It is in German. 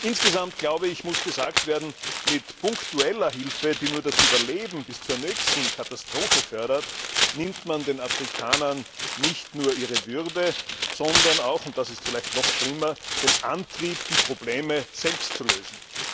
Insgesamt muss gesagt werden, mit punktueller Hilfe, die nur das Überleben bis zur nächsten Katastrophe fördert, nimmt man den Afrikanern nicht nur ihre Würde, sondern auch und das ist vielleicht noch schlimmer den Antrieb, die Probleme selbst zu lösen.